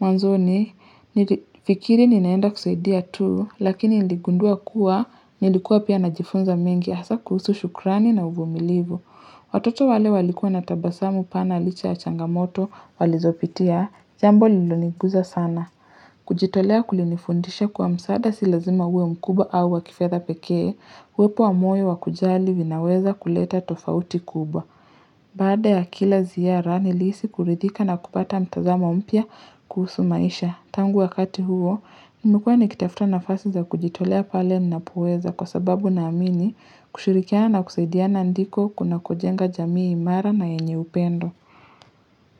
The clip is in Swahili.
Mwanzoni, nilifikiri ninaenda kusaidia tu, lakini niligundua kuwa, nilikuwa pia najifunza mengi, hasa kuhusu shukrani na uvumilivu. Watoto wale walikuwa na tabasamu pana licha ya changamoto walizopitia, jambo lilo nigusa sana. Kujitolea kulinifundisha kuwa msaada si lazima uwe mkubwa au wa kifedha pekee uwepo wa moyo wa kujali vinaweza kuleta tofauti kubwa Baada ya kila ziara nilihisi kuridhika na kupata mtazamo mpya kuhusu maisha Tangu wakati huo, nimekuwa nikitafuta nafasi za kujitolea pale ninapoweza Kwa sababu naamini kushirikiana kusaidiana ndiko kuna kujenga jamii imara na yenye upendo.